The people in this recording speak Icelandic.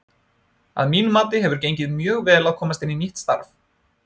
Að mínu mati hefur gengið mjög vel að komast inn í nýtt starf.